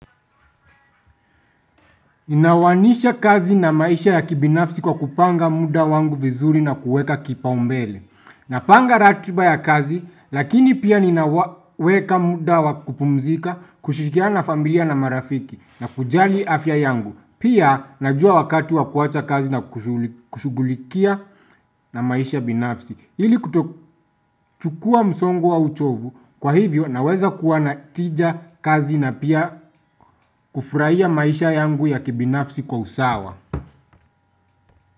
Naanza kazi na maisha ya kibinafsi kwa kupanga muda wangu vizuri na kuweka kipau mbele Napanga ratiba ya kazi lakini pia ninaweka muda wa kupumzika kushirikiana na familia na marafiki na kujali afya yangu. Pia najua wakati wa kuwacha kazi na kushugulikia na maisha binafsi ili kutochukua msongo wa uchovu, kwa hivyo naweza kuwa na tija kazi na pia kufurahia maisha yangu ya kibinafsi kwa usawa.